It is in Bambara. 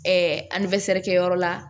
kɛyɔrɔ la